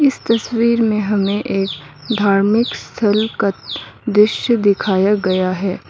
इस तस्वीर में हमें एक धार्मिक स्थल का दृश्य दिखाया गया है।